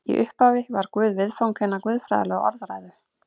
Í upphafi var Guð viðfang hinnar guðfræðilegu orðræðu.